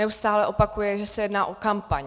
Neustále opakuje, že se jedná o kampaň.